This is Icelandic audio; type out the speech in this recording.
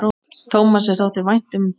Tómasi þótti vænt um börn.